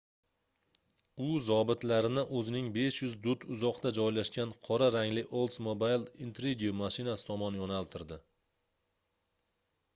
u zobitlarni oʻzining 500 dut uzoqda joylashgan qora rangli oldsmobile intrigue mashinasi tomon yoʻnaltirdi